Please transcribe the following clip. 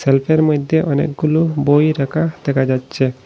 সেলফের মইধ্যে অনেকগুলো বই রাখা দেখা যাচ্ছে।